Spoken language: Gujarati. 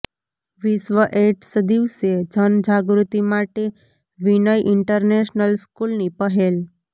વિશ્વ એઇડ્સ દિવસે જનજાગૃતિ માટે વિનય ઇનટરનેશનલ સ્કૂલની પહેલ